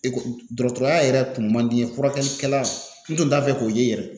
Eko dɔgɔtɔrɔya yɛrɛ tun man di n ye furakɛlikɛla n tun t'a fɛ k'o ye yɛrɛ.